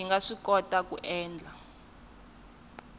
yi nga swikoti ku endla